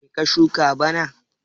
Me ka shuka bana?